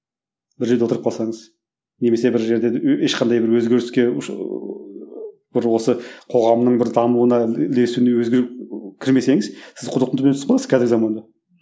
бір жерде отырып қалсаңыз немесе бір жерде ешқандай бір өзгеріске ыыы бір осы қоғамның бір дамуына ілесуіне өзгеріп кірмесеңіз сіз құдықтың түбіне түсіп қаласыз қазіргі заманда